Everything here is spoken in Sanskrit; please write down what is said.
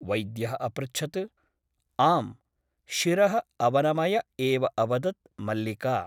वैद्यः अपृच्छत् । आम् । शिरः अवनमय एव अवदत् मल्लिका ।